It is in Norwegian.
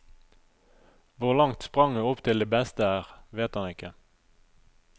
Hvor langt spranget opp til de beste er, vet han ikke.